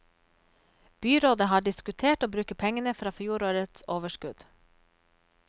Byrådet har diskutert å bruke pengene fra fjorårets overskudd.